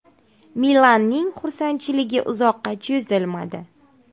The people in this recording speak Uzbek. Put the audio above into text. “Milan”ning xursandchiligi uzoqqa cho‘zilmadi.